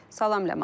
Salam Ləman.